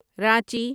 Ranchi